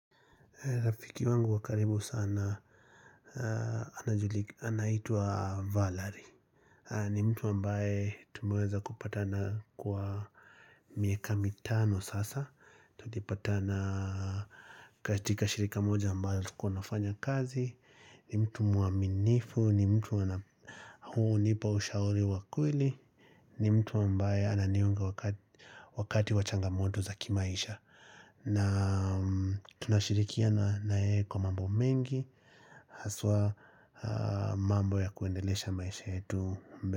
Rafiki wangu wakaribu sana, anaitwa Valerie ni mtu ambaye tumeweza kupatana kwa miaka mitano sasa Tulipatana katika shirika moja ambayo tulukuwa tunafanya kazi ni mtu mwaminifu, ni mtu huwa hunipa ushauri wakweli ni mtu ambaye ananiunga wakati wachangamoto za kimaisha na tunashirikiana na yeye kwa mambo mengi Haswa mambo ya kuendelesha maisha yetu.